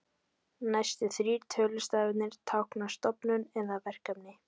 Næstu þrír tölustafirnir tákna stofnun eða verkefni.